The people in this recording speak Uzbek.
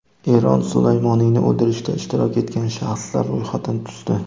Eron Sulaymoniyni o‘ldirishda ishtirok etgan shaxslar ro‘yxatini tuzdi.